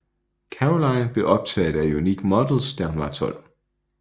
Caroline blev opdaget af Unique Models da hun var 12